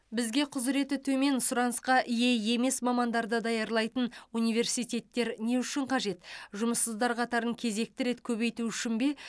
бізге құзыреті төмен сұранысқа ие емес мамандарды даярлайтын университеттер не үшін қажет жұмыссыздар қатарын кезекті рет көбейту үшін бе